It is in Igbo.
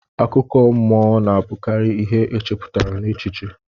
Akụkọ mọ na abukari ihe echeputa n'echiche.